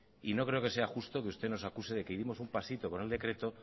y no creo que sea justo de que usted nos acuse de que dimos un pasito con el decreto